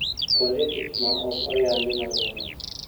Kuonde tich ma ok oyangi malong`o